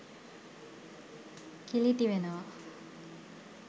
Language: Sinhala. කිලිටි වෙනවා.